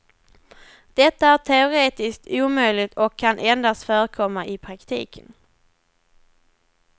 Detta är teoretiskt omöjligt och kan endast förekomma i praktiken.